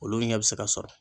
Olu ɲɛ bɛ se ka sɔrɔ.